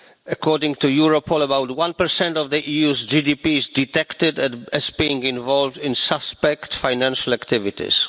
according to Europol about one percent of the EU's GDP is detected as being involved in suspect financial activities.